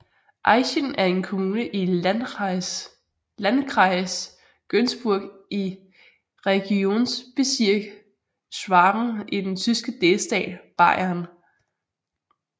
Aichen er en kommune i Landkreis Günzburg i Regierungsbezirk Schwaben i den tyske delstat Bayern